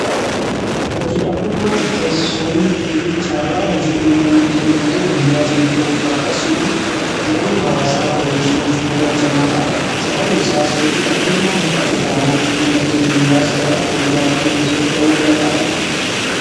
Hojii dhabdummaa xiqqeessuun fi carraa hojii uumuun dinagdee biyyaa cimsuuf akkasuma jireenya hawaasaa fooyyessuuf bu'uura cimaa ta'a. Sababni isaas hojii dhabdummaan hir'ate taanaan dinagdeen biyyaas gara fulduraatti socho'uu danda'a.